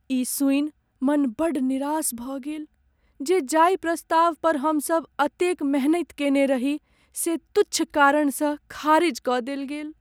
ई सुनि मन बड़ निरास भऽ गेल जे जाहि प्रस्ताव पर हमसब एतेक मेहनति कयने रही से तुच्छ कारण सँ खारिज कऽ देल गेल।